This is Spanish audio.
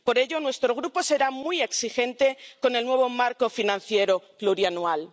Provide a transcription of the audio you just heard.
Por ello, nuestro Grupo será muy exigente con el nuevo marco financiero plurianual.